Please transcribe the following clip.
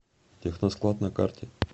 техносклад на карте